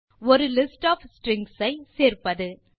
ஒரு list of strings ஐ சேர்ப்பது